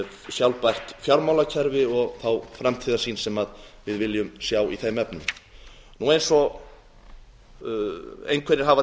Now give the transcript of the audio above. sjálfbært fjármálakerfi og þá framtíðarsýn sem við viljum sjá í þeim efnum eins og einhverjir hafa